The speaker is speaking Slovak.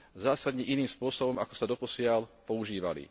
zásadne iným spôsobom, ako sa doposiaľ používali.